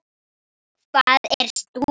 Hvað er stúka?